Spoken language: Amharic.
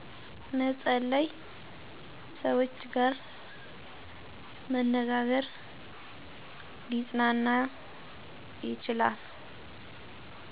መፀለይ ሰውች ጋር መነጋግር ሊፅናና ይችላል